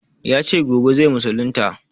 Ya ce gobe zai musulunta.